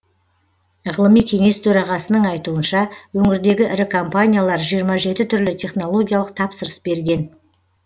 ғылыми кеңес төрағасының айтуынша өңірдегі ірі компаниялар жиырма жеті түрлі технологиялық тапсырыс берген